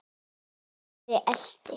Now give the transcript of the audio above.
Týri elti.